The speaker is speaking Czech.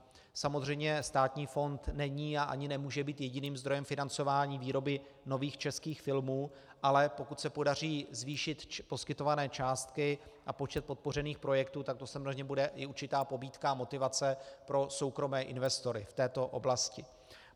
Samozřejmě státní fond není a ani nemůže být jediným zdrojem financování výroby nových českých filmů, ale pokud se podaří zvýšit poskytované částky a počet podpořených projektů, tak to samozřejmě bude i určitá pobídka a motivace pro soukromé investory v této oblasti.